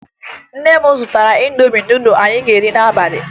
Nne m zụtara Indomi nudụ anyị ga-eri n'abalị